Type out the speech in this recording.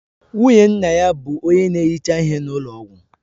Nwunye nna ya bụ onye na-ehicha ihe na ụlọ ọgwụ